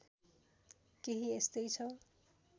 केही यस्तै छ